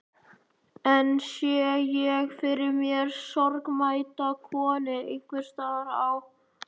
Enn sé ég fyrir mér sorgmædda konu einhvers staðar á